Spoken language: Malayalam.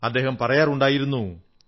അദ്ദേഹം പറയാറുണ്ടായിരുന്നു